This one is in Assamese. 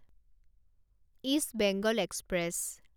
east Bengal express